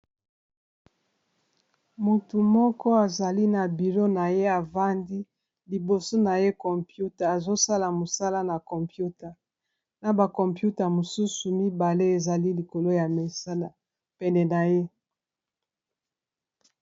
Motu moko azali na bureau na ye afandi liboso na ye computer azosala mosala na computer na ba computer mosusu mibale ezali likolo ya misala pene na ye.